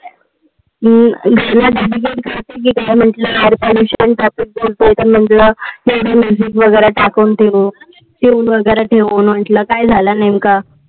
अं काय झाल नेमकं?